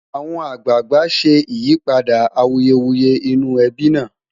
àwọn àgbààgbà ṣé ìyípadà awuyewuye inú ẹbi nà